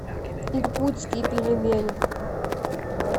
иркутские пельмени